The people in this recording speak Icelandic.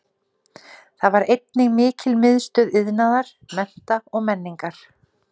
Þar var einnig mikil miðstöð iðnaðar, mennta og menningar.